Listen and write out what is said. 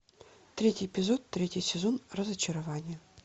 третий эпизод третий сезон разочарование